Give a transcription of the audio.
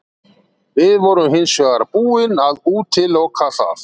Við vorum hins vegar búin að útiloka það.